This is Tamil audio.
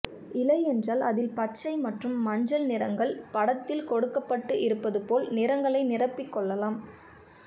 இலை என்றால் அதில் பச்சை மற்றும் மஞ்சள் நிறங்கள் படத்தில் கொடுக்கப்பட்டு இருப்பது போல் நிறங்களை நிரப்பிக் கொள்ளலாம்